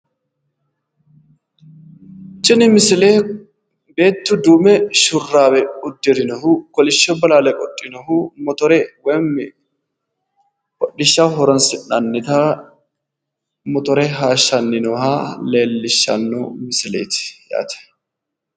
Tini misile beetu duume shuraaawe uddirinohu kolishsho bolaale qodhinohu motore woyim hodhishshaho horonsi'nannita motore haayishshanni nooha leellishshanno misileeti yaate